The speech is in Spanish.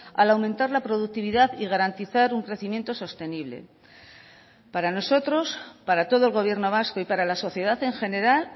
al aumentar la productividad y garantizar un crecimiento sostenible para nosotros para todo el gobierno vasco y para la sociedad en general